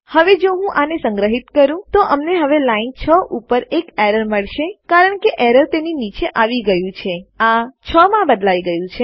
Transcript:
હવે જો હું આને સંગ્રહિત કરું તો અમને હવે લાઈન રેખા 6 ઉપર એક એરર મળશે કારણ કે એરર તેની નીચે આવી ગયું છે આ 6 માં બદલાઈ ગયું છે